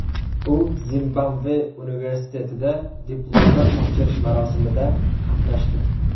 U Zimbabve universitetida diplomlar topshirish marosimida qatnashdi.